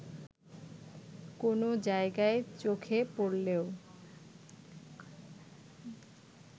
কোনো জায়গায় চোখে পড়লেও